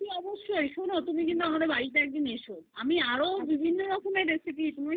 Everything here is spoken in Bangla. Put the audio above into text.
আর অবশ্যই তুমি আমাদের বাড়িতে একদিন এসো আমি আরো বিভিন্ন রকমের recipe কি বলবো তোমায়